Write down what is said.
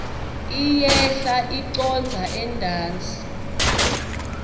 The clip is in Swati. iyehla icondza entasi